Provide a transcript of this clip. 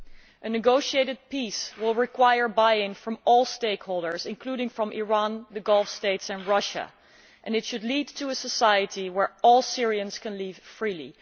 A negotiated peace will require buy in from all stakeholders, including Iran, the Gulf States and Russia, and it should lead to a society where all Syrians can live freely.